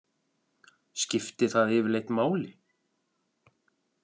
Skipti það yfirleitt máli?